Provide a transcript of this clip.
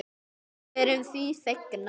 Og við erum því fegnar.